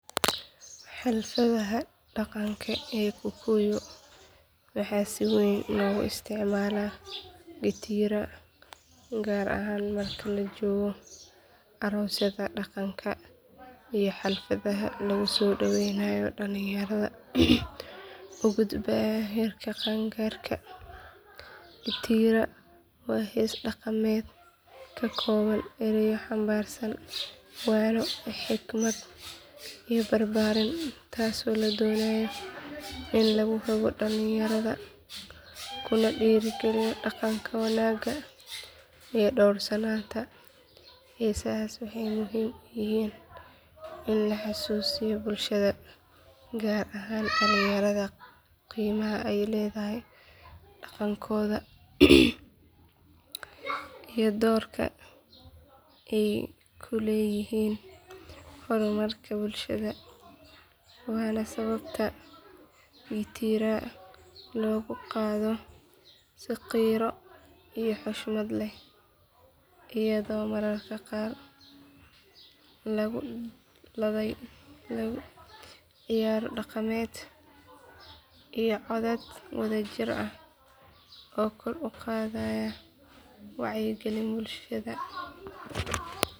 Xafladaha dhaqanka ee kikuyu waxaa si weyn loogu isticmaalaa gitiira gaar ahaan marka la joogo aroosyada dhaqanka iyo xafladaha lagu soo dhaweynayo dhalinyarada u gudbaya heerka qaangaarka gitiira waa hees dhaqameed ka kooban erayo xambaarsan waano xikmad iyo barbaarin taasoo la doonayo in lagu hago dhalinyarada kuna dhiirigeliyo dhaqanka wanaagga iyo dhowrsanaanta heesahaas waxay muhiim u yihiin in la xasuusiyo bulshada gaar ahaan dhalinyarada qiimaha ay leedahay dhaqankooda iyo doorka ay ku leeyihiin horumarka bulshada waana sababta gitiira loogu qaado si qiiro iyo xushmad leh iyadoo mararka qaar lagu ladhayo ciyaaro dhaqameed iyo codad wadajir ah oo kor u qaada wacyiga bulshada.